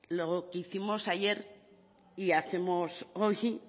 lo que hicimos ayer y hacemos hoy y